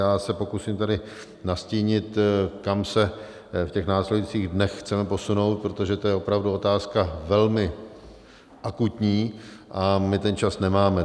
Já se pokusím tedy nastínit, kam se v těch následujících dnech chceme posunout, protože to je opravdu otázka velmi akutní a my ten čas nemáme.